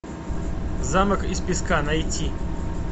замок из песка найти